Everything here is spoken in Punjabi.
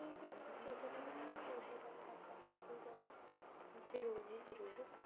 ਜਰੂਰ ਜੀ ਜਰੂਰ